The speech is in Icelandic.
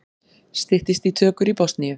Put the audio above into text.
Styttist í tökur í Bosníu